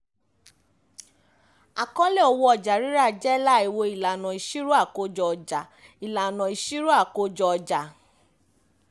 àkọọ́lẹ̀ owó ọjà-rírà jẹ́ láìwo ìlànà ìṣirò àkójọ-ọjà ìlànà ìṣirò àkójọ-ọjà